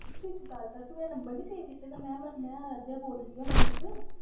ਤੂੰ ਇੱਕ ਗੱਲ ਤੂੰ ਮੇਰਾ number ਨੀ save ਕੀਤੇ ਦਾ ਮੈਂ ਮੈਂ ਆਰਾਧਿਆ ਬੋਲਦੀ ਪਈ ਹਾਂ ਮਨਜੀਤ।